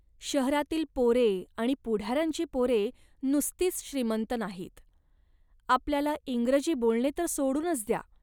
शहरातली पोरे आणि पुढाऱ्यांची पोरे नुसतीच श्रीमंत नाहीत. आपल्याला इंग्रजी बोलणे तर सोडूनच द्या